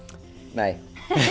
nei